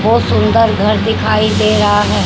बहुत सुंदर घर दिखाई दे रहा है।